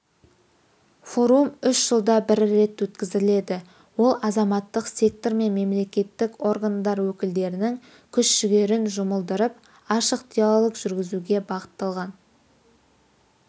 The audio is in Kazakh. форум үш жылда бір рет өткізіледі ол азаматтық сектор мен мемлекеттік органдар өкілдерінің күш-жігерін жұмылдырып ашық диалог жүргізуге бағытталған